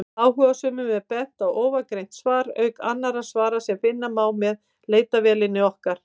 Áhugasömum er bent á ofangreint svar, auk annarra svara sem finna má með leitarvélinni okkar.